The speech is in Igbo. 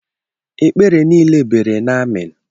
Ekpere niile bere n'amen.